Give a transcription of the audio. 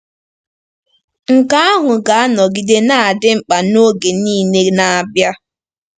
Nke ahụ ga-anọgide na-adị mkpa n'oge niile na-abịa.